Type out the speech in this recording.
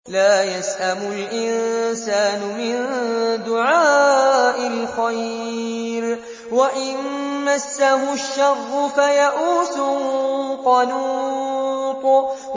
لَّا يَسْأَمُ الْإِنسَانُ مِن دُعَاءِ الْخَيْرِ وَإِن مَّسَّهُ الشَّرُّ فَيَئُوسٌ قَنُوطٌ